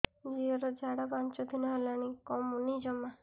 ଝିଅର ଝାଡା ପାଞ୍ଚ ଦିନ ହେଲାଣି କମୁନି ଜମା